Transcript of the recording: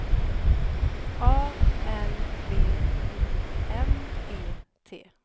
A L B U M E T